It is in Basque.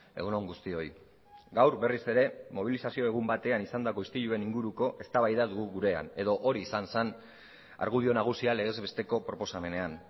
egun on guztioi gaur berriz ere mobilizazio egun batean izandako istiluen inguruko eztabaida dugu gurean edo hori izan zen argudio nagusia legez besteko proposamenean